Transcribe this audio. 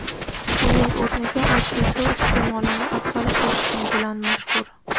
uning o‘rniga oddiy suv iste’molini afzal ko‘rishi bilan mashhur.